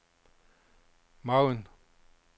margen